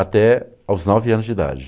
Até aos nove anos de idade.